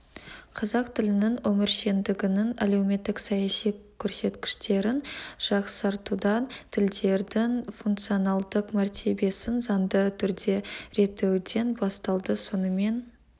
қазақ тілінің өміршеңдігінің әлеуметтік-саяси көрсеткіштерін жақсартудан тілдердің функционалдық мәртебесін заңды түрде реттеуден басталды сонымен